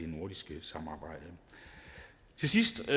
nordiske samarbejde til sidst